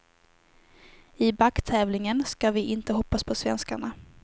I backtävlingen ska vi inte hoppas på svenskarna.